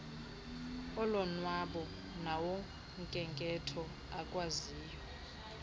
olonwabo nawokhenketho akwaziyo